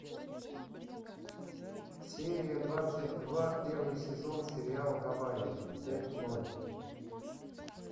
серия двадцать два первый сезон сериал гавайи пять ноль